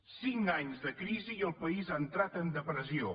cinc anys de crisi i el país ha entrat en depressió